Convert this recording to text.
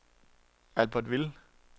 Albertville